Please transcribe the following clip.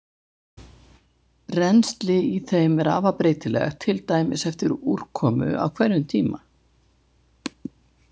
Rennsli í þeim er afar breytilegt, til dæmis eftir úrkomu á hverjum tíma.